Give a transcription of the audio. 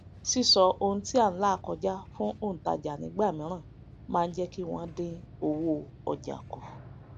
sísọ ohun tí à n là kọjá fún òntajà nígbà mìíràn máá jékí wòn dín owó òjà kù